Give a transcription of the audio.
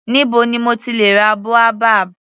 Níbo ni mo ti lè ra boabab.